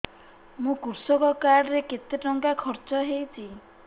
ମୋ କୃଷକ କାର୍ଡ ରେ କେତେ ଟଙ୍କା ଖର୍ଚ୍ଚ ହେଇଚି